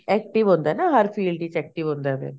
active ਹੁੰਦਾ ਨਾ ਹਰ field ਦੇ ਵਿੱਚ active ਹੁੰਦਾ ਫੇਰ